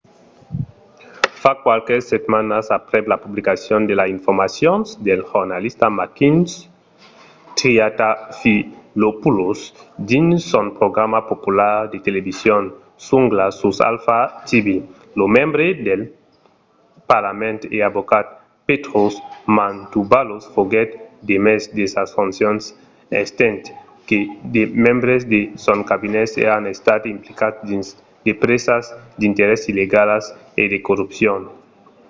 fa qualques setmanas aprèp la publicacion de las informacions del jornalista makis triantafylopoulos dins son programa popular de television zoungla sus alpha tv lo membre del parlament e avocat petros mantouvalos foguèt demés de sas foncions estent que de membres de son cabinet èran estats implicats dins de presas d'interès illegalas e de corrupcion